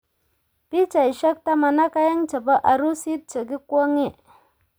Pichaisyek taman ak agenge chebo arusit che kikwong'ee